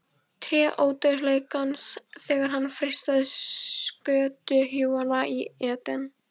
Tré Ódauðleikans þegar hann freistaði skötuhjúanna í Eden